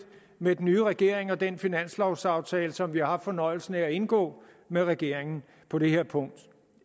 med den nye regering og den finanslovaftale som vi har haft fornøjelsen af at indgå med regeringen på det her punkt